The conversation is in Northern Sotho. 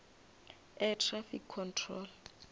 air traffic control